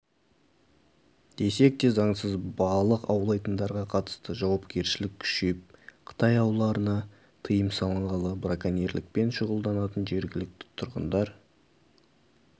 десек те заңсыз балық аулайтындарға қатысты жауапкершілік күшейіп қытай ауларына тыйым салынғалы браконьерлікпен шұғылданатын жергілікті тұрғындар